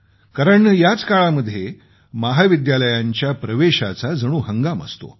कारण याच काळामध्ये महाविद्यालयांच्या प्रवेशाची गडबड असते